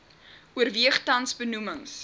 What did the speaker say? oorweeg tans benoemings